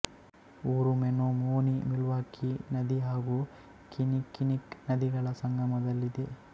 ಊರು ಮೆನೊಮೊನೀಮಿಲ್ವಾಕೀ ನದಿ ಹಾಗೂ ಕಿನ್ನಿಕ್ಕಿನ್ನಿಕ್ ನದಿಗಳ ಸಂಗಮದಲ್ಲಿ ಇದೆ